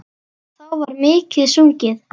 Þá var mikið sungið.